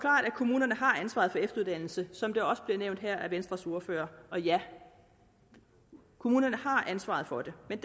at kommunerne har ansvaret for efteruddannelse som det også blev nævnt af venstres ordfører og ja kommunerne har ansvaret for det men